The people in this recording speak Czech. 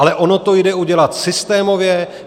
Ale ono to jde udělat systémově.